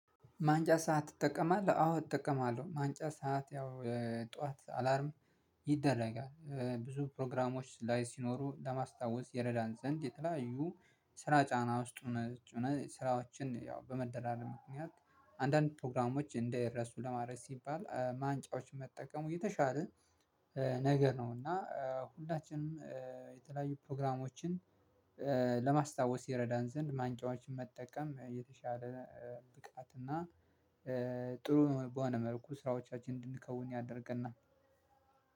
ማንጫ ሰዓት ትጠቀማለህ አዎ እጠቀማለሁ። ማንጫ ሰዓት ያው ጠዋት አላርም ይደረጋል ብዙ ፕሮግራሞች ላይ ሲኖሩ ለማስታወስ ይረዳን ዘንድ የተለያዩ ስራ ጫና ውስጥ ሆነን ስራዎችን ያው በመደራረብ ምክንያት አንዳንድ ፕሮግራሞች እንዳይረሱ ለማድረግ ሲባል ማንቂያዎችን መጠቀም የተሻለ ነገር ነው። እና ሁላችንም የተለያዩ ፕሮግራሞችን ለማስታወስ ይረዳን ዘንድ ማንቂያዎችን መጠቀም የተሻለ ብቃት እና ጥሩ በሆነ መልኩ ስራዎቻችንን እንድንከውን ያደርገናል።